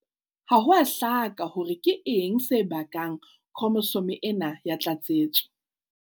Ha ho a hlaka hore na keng se bakang khromosome ena ya tlatsetso.